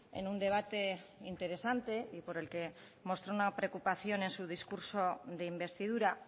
en un debate interesante y por el que mostró una preocupación en su discurso de investidura